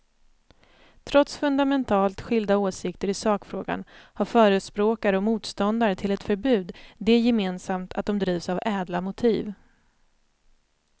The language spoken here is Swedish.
Trots fundamentalt skilda åsikter i sakfrågan har förespråkare och motståndare till ett förbud det gemensamt att de drivs av ädla motiv.